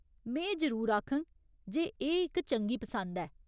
में एह् जरूर आखङ जे एह् इक चंगी पसंद ऐ, ।